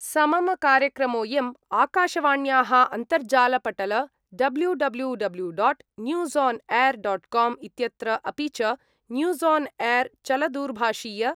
समम कार्यक्रमोऽयं आकाशवाण्याः अन्तर्जालपटल W W W dot news on air dot com इत्यत्र, अपि च, न्यूसान् एर् चलदूरभाषीय